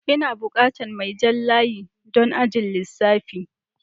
Ina bukatan mai jan layi don ajin lissafi.